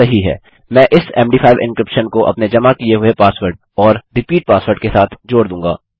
मैं इस मद5 एन्क्रिप्शन को अपने जमा किये हुए पासवर्ड और रिपीट पासवर्ड के साथ जोड़ दूँगा